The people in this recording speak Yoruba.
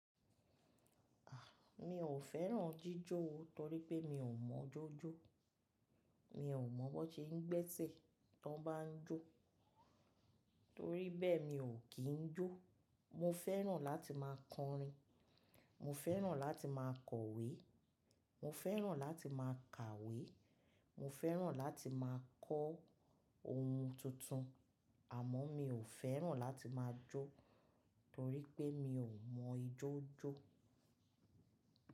Mi ò fẹ́ràn jíjó o torí pé mi ò mọ jójó. Mi ò mọ̀ bó ṣe ń gbẹ́sẹ̀ tó bá jó. Torí bẹ́ẹ̀ mi ò kì ń jó. Mo fẹ́ràn láti máa kọrin, mo fẹ́ràn láti máa kọ̀wé, mo fẹ́ràn láti máa kàwé, mo fẹ́ràn láti máa kọ́ ohun tuntun. Àmọ́ mi ò fẹ́ràn láti máa jó torí pé mi ò mọ ijójó.